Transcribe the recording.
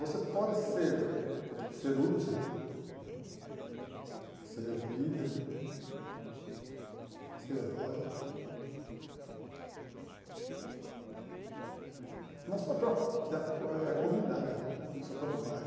Você pode ser ser útil, ser líder, ser herói, na sua própria eh comunidade, no seu próprio bairro.